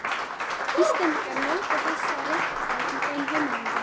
Íslendingar njóti þessa réttar í þeirra heimalöndum.